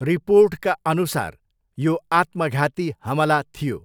रिपोर्टका अनुसार यो आत्मघाती हमला थियो।